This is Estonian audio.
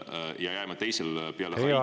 … peale Haitit majanduslanguse pikkuse poolest?